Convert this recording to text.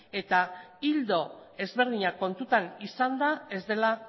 eta ildo ezberdinak kontutan izanda ez dela